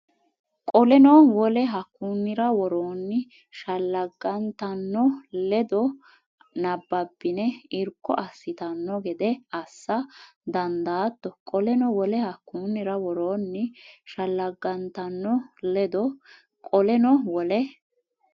Qoleno wole hakkunnira woroonni shelleggantanno ledo nabbabbanni irko assitanno gede assa dandaatto Qoleno wole hakkunnira woroonni shelleggantanno ledo Qoleno wole.